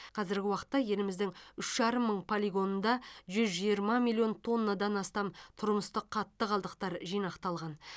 қазіргі уақытта еліміздің үш жарым мың полигонында жүз жиырма миллион тоннадан астам тұрмыстық қатты қалдықтар жинақталған